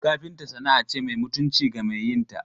Kafinta sana'a ce mai mutunci ga mai yin ta.